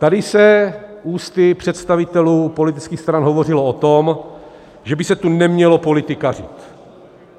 Tady se ústy představitelů politických stran hovořilo o tom, že by se tu nemělo politikařit.